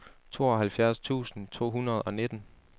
tooghalvfjerds tusind to hundrede og nitten